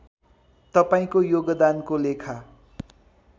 तपाईँको योगदानको लेखा